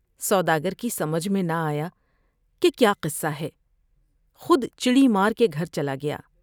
سودا گر کی سمجھ میں نہ آیا کہ کیا قصہ ہے ، خود چڑی مار کے گھر چلا گیا ۔